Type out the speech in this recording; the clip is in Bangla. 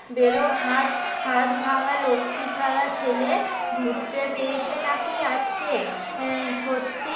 বেরো হাত হাত ভাঙ্গা লক্ষ্মী ছাড়া ছেলে পেয়েছে নাকি আজকে আহ সত্যি